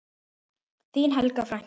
Þín Helga frænka.